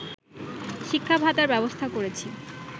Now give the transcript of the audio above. শিক্ষা ভাতার ব্যবস্থা করেছি